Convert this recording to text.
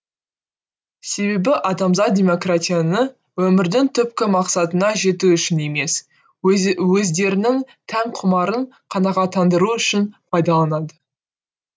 себебі адамзат демократияны өмірдің түпкі мақсатына жету үшін емес өздерінің тән құмарын қанағаттандыру үшін пайдаланады